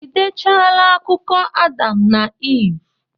Ị dechaala akụkọ Adam na Iv?